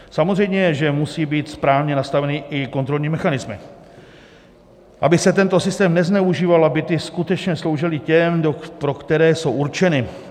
Samozřejmě že musí být správně nastavené i kontrolní mechanismy, aby se tento systém nezneužíval a byty skutečně sloužily těm, pro které jsou určeny.